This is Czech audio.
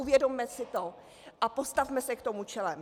Uvědomme si to a postavme se k tomu čelem.